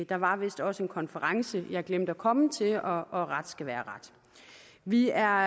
der var vist også en konference jeg glemte at komme til og og ret skal være ret vi er